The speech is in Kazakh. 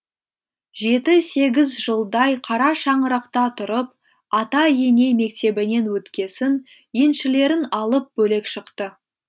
жеті сегіз жылдай қара шаңырақта тұрып ата ене мектебінен өткесін еншілерін алып бөлек шықты